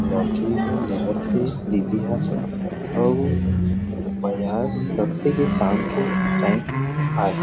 लौकी ल लेगत हे दीदी ह अउ बाजार लगा थे की शाम के टाइम आए।